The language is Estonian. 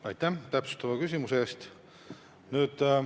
Aitäh täpsustava küsimuse eest!